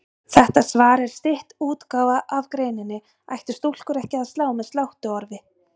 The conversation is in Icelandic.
Þetta svar er stytt útgáfa af greininni Ættu stúlkur ekki að slá með sláttuorfi?